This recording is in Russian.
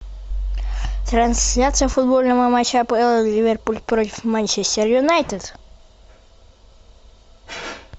трансляция футбольного матча апл ливерпуль против манчестер юнайтед